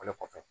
O le kɔfɛ